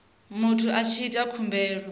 muthu a tshi ita khumbelo